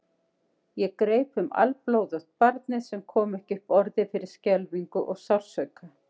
Ég greip um alblóðugt barnið sem kom ekki upp orði fyrir skelfingu og sársauka.